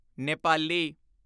Nepali